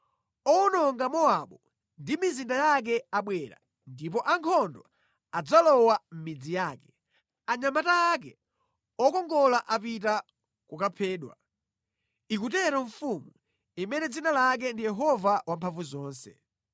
Owononga Mowabu ndi mizinda yake abwera ndipo ankhondo adzalowa mʼmidzi yake; anyamata ake okongola apita kukaphedwa,” ikutero Mfumu, imene dzina lake ndi Yehova Wamphamvuzonse.